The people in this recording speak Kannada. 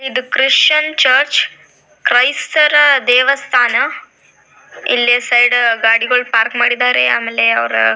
ಇದು ಕ್ರಿಶ್ಚಿಯನ್ ಚರ್ಚ್ ಕ್ರೈಸ್ತರ ದೇವಸ್ಥಾನ ಇಲ್ಲಿ ಸೈಡ್ ಗಾಡಿಗಳು ಪಾರ್ಕ್ ಮಾಡಿದ್ದಾರೆ ಆಮೇಲೆ ಅವ್ರ --